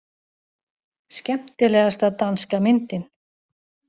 Skemmtilegasta danska myndin